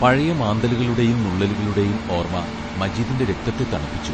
പഴയ മാന്തലുകളുടെയും നുള്ളലുകളുടെയും ഓർമ മജീദിന്റെ രക്തത്തെ തണുപ്പിച്ചു.